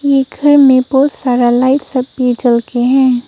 ये घर में बहुत सारा लाइट्स सब भी जल के हैं।